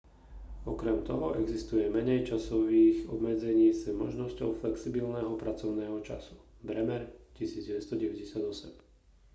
okrem toho existuje menej časových obmedzení s možnosťou flexibilného pracovného času. bremer 1998